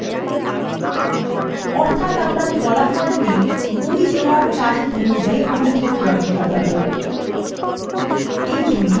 অর্থাত আমরা ফলাফলটি বই দেওয়ার তারিখ অনুযায়ী ঊর্ধক্রমে সাজাব